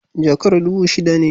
Jakar dubu shida ne.